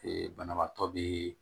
banabaatɔ be